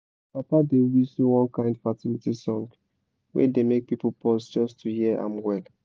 my papa dey whistle one kind fertility song wey dey make people pause just to hear am well.